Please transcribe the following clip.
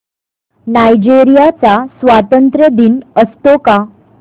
Nigeria चा स्वातंत्र्य दिन असतो का